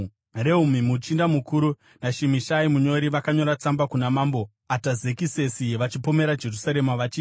Rehumi muchinda mukuru naShimishai munyori vakanyora tsamba kuna mambo Atazekisesi vachipomera Jerusarema vachiti: